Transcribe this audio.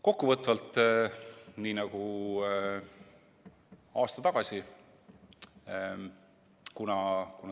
Kokkuvõtvalt.